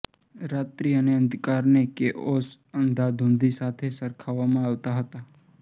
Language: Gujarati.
રાત્રી અને અંધકારને કેઓસ અંધાધૂંધી સાથે સરખાવવામાં આવતા હતા